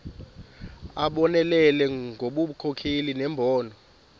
abonelele ngobunkokheli nembono